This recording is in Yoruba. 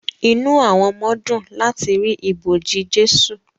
Inú àwọn ọmọ dùn láti rí ibojì Jésù